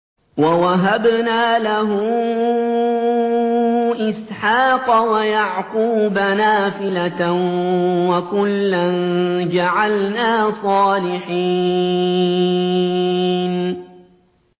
وَوَهَبْنَا لَهُ إِسْحَاقَ وَيَعْقُوبَ نَافِلَةً ۖ وَكُلًّا جَعَلْنَا صَالِحِينَ